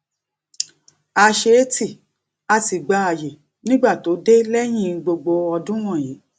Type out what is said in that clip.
a se tii a sì gba àyè nígbà tó dé léyìn gbogbo ọdún wònyí